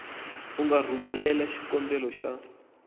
u nga rhumelela xikombelo xa